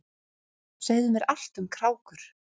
Segðu mér allt um krákur.